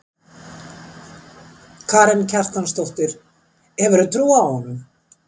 Karen Kjartansdóttir: Hefurðu trú á honum?